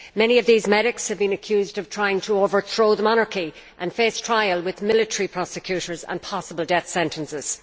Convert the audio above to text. Many of these medics have been accused of trying to overthrow the monarchy and face trial with military prosecutors and possible death sentences.